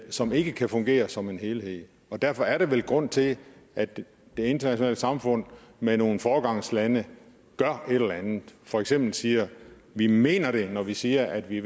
som ikke kan fungere som en helhed derfor er der vel grund til at det internationale samfund med nogle foregangslande gør et eller andet for eksempel siger vi mener det når vi siger at vi